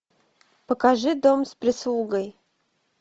покажи дом с прислугой